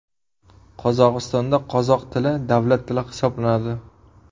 Qozog‘istonda qozoq tili davlat tili hisoblanadi.